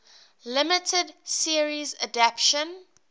limited series adaptation